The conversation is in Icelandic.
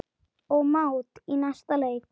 og mát í næsta leik.